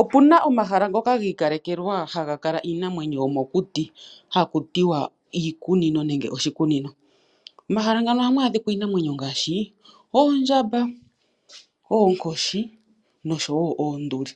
Opuna omahala ngoka gi ikalekelwa haga kala iinamwenyo yomokuti hakutiwa iikunino nengw oshikunino. Momahala ngano ohamu adhika iinamwenyo ngaashi oondjamba ,oonkoshi noshowo oonduli .